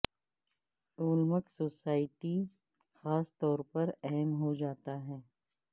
Olmec society خاص طور پر اہم ہو جاتا ہے